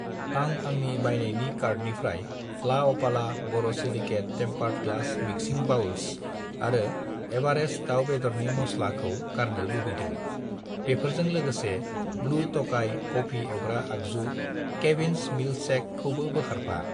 आं आंनि बायनायनि कार्टनिफ्राय लाअपाला borosilicate tempered glass mixing bowls आरो एवारेस्ट दाउ बेदरनि मस्ला खौ गारनो लुबैदों। बेफोरजों लोगोसे ब्लु टकाइ कफि एवग्रा आगजु , केविन्स मिल्कशेक खौबो बोखारफा।